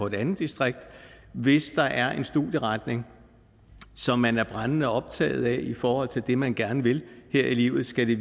et andet distrikt hvis der er en studieretning som man er brændende optaget af i forhold til det man gerne vil her i livet skal det